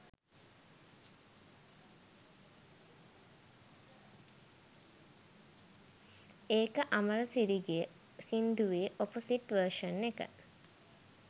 ඒක අමරසිරි ගෙ සින්දුවෙ ඔපොසිට් වර්ෂන් එක